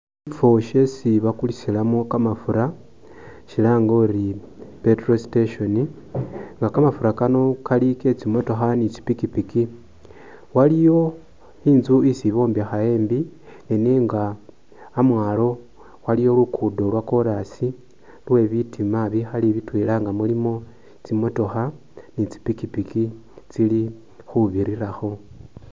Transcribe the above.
Mushifo shesi bakulisalamo kamafura shilange uri i petrol station, nga kamafura kano kali ke tsi motokha ni tsi pikipiki, waliyo Inzu isi bombekha embi nenga amwalo waliwo lugudo lwa corasi lwe bitima bikhali bitwela nga mulimo tsimotokha ni tsi pikipiki tsili khubirirakho.